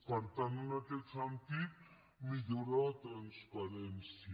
per tant en aquest sentit millora la transparència